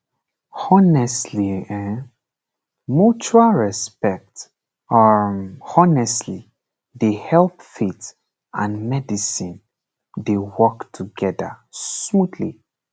honestly um mutual respect um honestly dey help faith and medicine dey work together smoothly